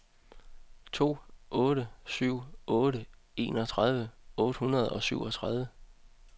to otte syv otte enogtredive otte hundrede og syvogtredive